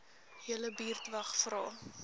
julle buurtwag vra